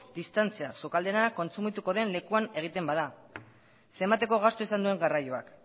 distantzia sukalde lana kontsumituko den lekuan egiten bada zenbateko gastua izan duen garraioak